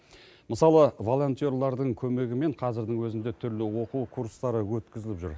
мысалы волонтерлардың көмегімен қазірдің өзінде түрлі оқу курстары өткізіліп жүр